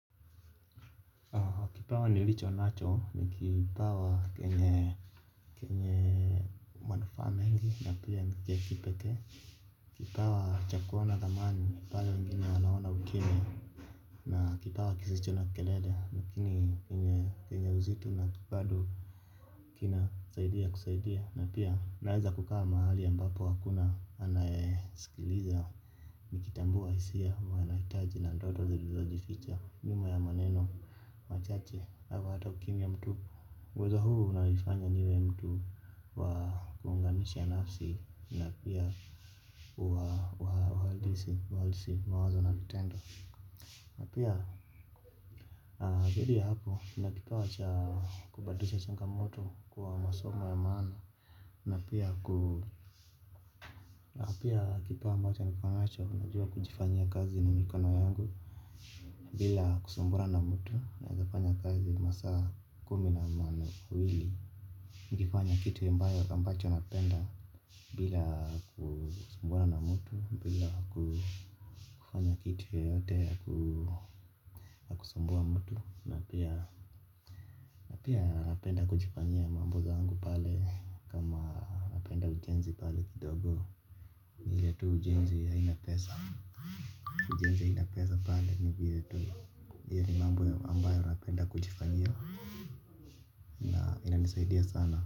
Kipawa nilicho nacho ni kipawa kenye kenye manufaa mengi na pia ni cha kipekee kipawa cha kuona dhamani pale wengine wanaona ukimya. Na kipawa kisicho na kelele lakini enye uzito na bado kina saidia kusaidia na pia naeza kukaa mahali ambapo hakuna anaye sikiliza nikitambua isia wainahitaji na ndoto zilizo jificha nyuma ya maneno, machache au hata ukimya mtu uwezo huu unanifanya niwe mtu na kuunganisha nafsi. Na pia uwa odisi, walisi, mawazo na vitendo. Na pia zaidi ya hapo kuna kipawa cha kubadilisha changamoto kuwa masomo ya maana. Na pia kipawa ambacho niko nacho najua kujifanyia kazi ni mikono yangu. Bila kusumbura na mtu naeza kufanya kazi masaa kumi na mawili nikifanya kitu ambayo ambacho napenda. Bila kusumbuana mtu bila kufanya kitu yoyote ya kusumbua mtu na pia napia napenda kujifanyia mambo zangu pale. Kama napenda ujenzi pale kidogo ile tu ujenzi haina pesa. Ujenzi haina pesa pale ni vile tu ile mambo ambayo napenda kujifanyia na inanisaidia sana.